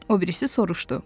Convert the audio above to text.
O birisi soruşdu.